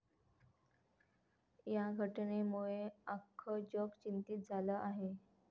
या घटनेमुळे आख्खं जग चिंतित झालं आहे.